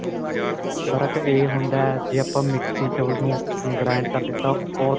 ਫ਼ਰਕ ਇਹ ਹੁੰਦਾ ਜੇ ਆਪਾਂ ਮਿਕਸੀ ਚ ਉਹਨੂੰ grand ਕਰਦੇ ਆਂ ਤਾਂ ਬਹੁਤ